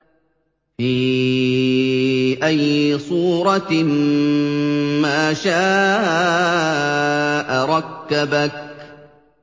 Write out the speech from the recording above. فِي أَيِّ صُورَةٍ مَّا شَاءَ رَكَّبَكَ